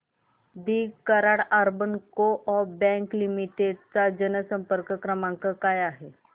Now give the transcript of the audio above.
दि Karad urban coop bank limited चा जनसंपर्क क्रमांक काय आहे